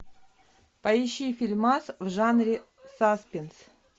поищи фильмас в жанре саспенс